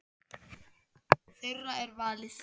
Þeirra er valið.